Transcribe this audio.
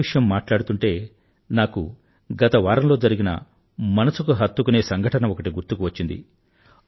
ఆటల విషయం మాట్లాడుతుంటే నాకు గతవారంలో జరిగిన మనసుకు హత్తుకునే సంఘటన ఒకటి గుర్తుకువచ్చింది